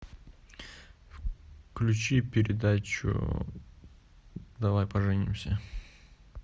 включи передачу давай поженимся